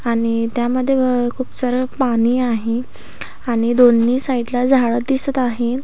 आणि त्यामध्ये खूप सार पाणी आहे आणि दोन्ही साईडला झाड दिसत आहे.